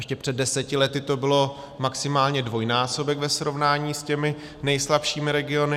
ještě před deseti lety to byl maximálně dvojnásobek ve srovnání s těmi nejslabšími regiony.